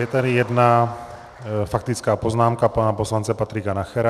Je tady jedna faktická poznámka pana poslance Patrika Nachera.